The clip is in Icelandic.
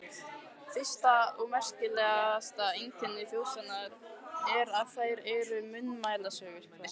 Fyrsta og merkasta einkenni þjóðsagna er, að þær eru munnmælasögur.